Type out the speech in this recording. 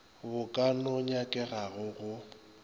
bo ka no nyakegago go